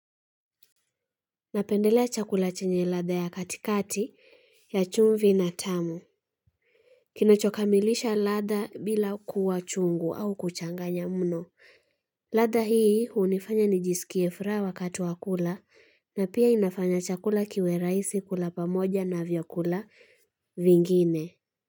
Napendelea chakula chenye latha ya katikati, ya chumvi na tamu. Kinachokamilisha latha bila kuwa chungu au kuchanganya mno. Latha hii unifanya nijiskie furaha wakati wakula na pia inafanya chakula kiwe rahisi kula pa moja na vyakula vingine.